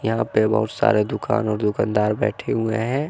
यहां पे बहुत सारे दुकान और दुकानदार बैठे हुए हैं।